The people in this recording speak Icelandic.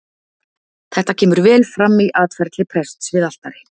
Þetta kemur vel fram í atferli prests við altari.